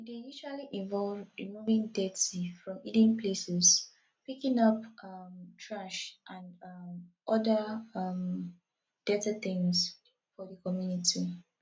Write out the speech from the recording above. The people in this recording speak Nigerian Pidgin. e dey usually involve removing dirty from hidden places picking up um trash and um oda um dirty things for di community